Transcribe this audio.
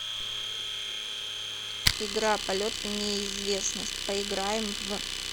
игра полет в неизвестность поиграем в